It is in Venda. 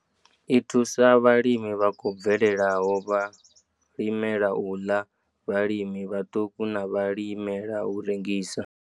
I thusa vhalimi vha khou bvelelaho, vhalimela u ḽa, vhalimi vhaṱuku na vhalimela u rengisa.